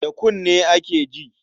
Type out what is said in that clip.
Da kunne ake ji.